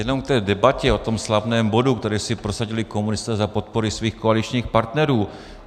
Jenom k té debatě o tom slavném bodu, který si prosadili komunisté za podpory svých koaličních partnerů.